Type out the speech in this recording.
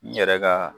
N yɛrɛ ka